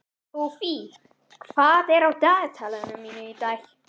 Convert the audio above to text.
Hófí, hvað er á dagatalinu mínu í dag?